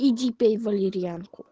иди пей валерьянку